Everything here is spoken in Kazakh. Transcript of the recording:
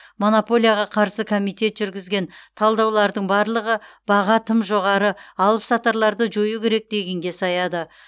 монополияға қарсы комитет жүргізген талдаулардың барлығы баға тым жоғары алыпсатарларды жою керек дегенге саяды